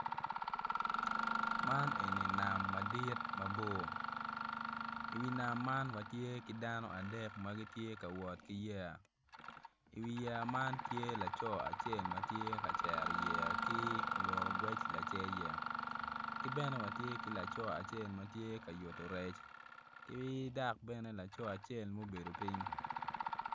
Man eni nam madit mabor iwi nam man watye ki dano adek ma gitye ka wot ki yeya iwi yeya man tye laco acel ma tye ka cero yeya ki olot ogwec lacer yeya ki bene watye ki laco acel ma tye ka yuto rec ki dok bene lco acel ma obedo piny.